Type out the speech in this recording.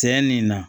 Cɛ nin na